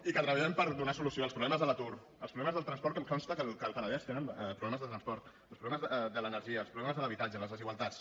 i que treballem per donar solució als problemes de l’atur als problemes del transport que em consta que al penedès tenen problemes de transport als problemes de l’energia als problemes de l’habitatge les desigualtats